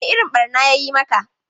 Wane irin ɓarna ya yi maka?